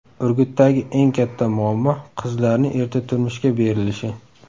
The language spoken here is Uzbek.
Urgutdagi eng katta muammo qizlarni erta turmushga berilishi.